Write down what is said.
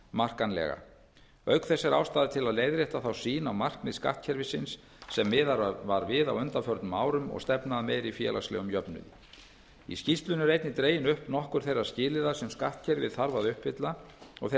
merkjanlega auk þess er ástæða til að leiðrétta þá sýn á markmið skattkerfisins sem miðað var við á undanförnum árum og stefna að meiri félagslegum jöfnuði í skýrslunni eru einnig dregin upp nokkur þeirra skilyrða sem skattkerfið þarf að uppfylla og þeirra